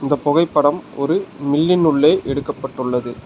இந்த புகைப்படம் ஒரு மில்லின் உள்ளே எடுக்கப்பட்டுள்ளது.